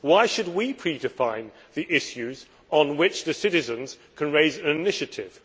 Why should we predefine the issues on which citizens can raise an initiative?